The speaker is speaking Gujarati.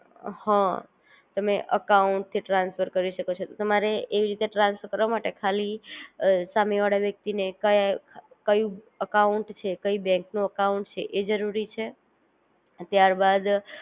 હ તમે અકાઉંટ થી ટ્રાન્સફર કરી શકો છો તમારે એવી રીતે ટ્રાન્સફર કરવા માટે ખાલી સામે વાળા વ્યક્તિ ને કયાઅ, કયું અકાઉંટ છે કઈ બેન્ક નું અકાઉંટ છે એ જરૂરી છે ત્યાર બાદ,